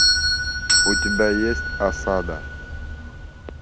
у тебя есть осада